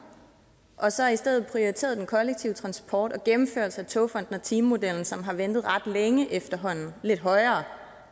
og så i stedet prioriterede den kollektive transport og gennemførelsen af togfonden dk og timemodellen som har ventet ret længe efterhånden lidt højere